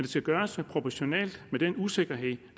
skal gøres proportionalt med den usikkerhed